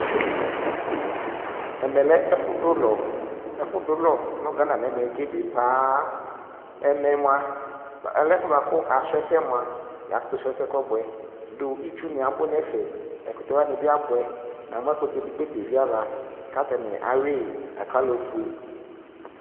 ɛmɛ lɛ ɛƒʋ dʋ ʋlɔ, ɛƒʋ dʋlɔ nʋ Ghana nʋ ɛmɛ ɛbɛ paa, ɛmɛ mʋa ɛƒʋɛ bʋakʋ asrɔ ɛsɛ mʋa yakʋtʋ srɔ ɛsɛ kɔbuɛ dʋ itsʋ ni abʋ nʋ ɛƒɛ, ɛkʋtɛ wani bi abʋɛ, yamʋ ta ɛkʋtɛ ɛdigbɔ ɛvi aɣa kʋ atani awii ɔƒʋɛ